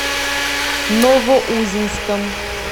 новоузенском